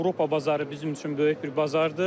Avropa bazarı bizim üçün böyük bir bazardır.